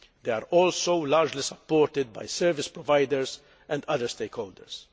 They are also largely supported by service providers and other stakeholders.